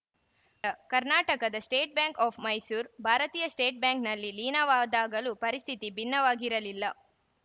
ಕರ್ನಾಟಕದ state bank of Mysore ಭಾರತೀಯ state ಬ್ಯಾಂಕ್‌ನಲ್ಲಿ ಲೀನವಾದಾಗಲೂ ಪರಿಸ್ಥಿತಿ ಭಿನ್ನವಾಗಿರಲಿಲ್ಲ